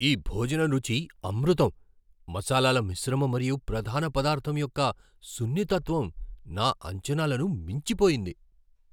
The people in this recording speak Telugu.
ఈ భోజనం రుచి అమృతం! మసాలాల మిశ్రమం మరియు ప్రధాన పదార్ధం యొక్క సున్నితత్వం నా అంచనాలను మించిపోయింది.